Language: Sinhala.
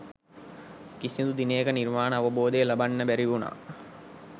කිසිදු දිනයක නිර්වාණ අවබෝධය ලබන්න බැරි වුණා